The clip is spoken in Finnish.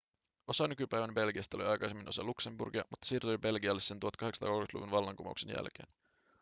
osa nykypäivän belgiasta oli aikaisemmin osa luxemburgia mutta siirtyi belgialle sen 1830-luvun vallankumouksen jälkeen